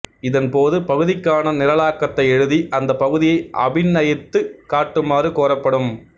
இதன்போது பகுதிக்கான நிரலாக்கத்தை எழுதி அந்தப் பகுதியை அபிநயித்துக் காட்டுமாறு கோரப்படும்